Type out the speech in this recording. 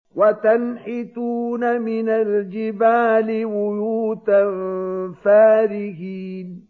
وَتَنْحِتُونَ مِنَ الْجِبَالِ بُيُوتًا فَارِهِينَ